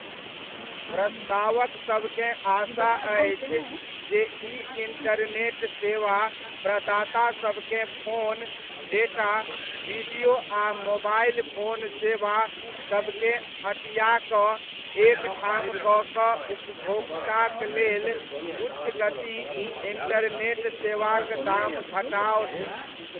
प्रस्तावकसबकेँ आशा अछि जे ई इण्टरनेट सेवा प्रदाता सबकेँ फोन, डेटा, वीडियो आ मोबाइल फोन सेवा सबकेँ अँटियाकऽ एक ठाम कऽ कऽ उपभोक्ताक लेल उच्च गति इण्टरनेट सेवाक दाम घटाओत।